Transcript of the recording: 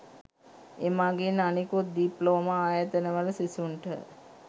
එමගින් අනෙකුත් ඩිප්ලෝමා ආයතන වල සිසුන්ට